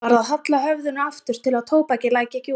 Hann varð að halla höfðinu aftur til að tóbakið læki ekki út.